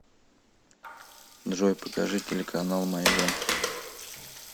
джой покажи телеканал майдан